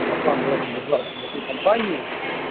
компания